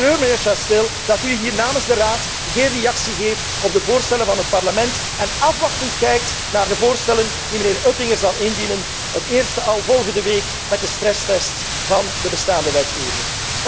staan. Ik betreur, meneer Chastel, dat u hier namens de Raad geen reactie geeft op de voorstellen van het Parlement en afwachtend kijkt naar de voorstellen die meneer Oettinger zal indienen, het eerste al volgende week met de stresstest van de bestaande wetgeving.